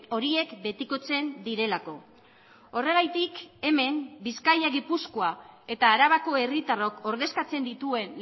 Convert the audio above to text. horiek betikotzen direlako horregatik hemen bizkaia gipuzkoa eta arabako herritarrok ordezkatzen dituen